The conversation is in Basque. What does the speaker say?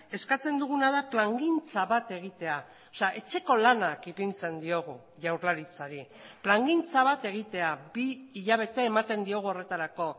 eskatzen duguna da plangintza bat egitea etxeko lanak ipintzen diogu jaurlaritzari plangintza bat egitea bi hilabete ematen diogu horretarako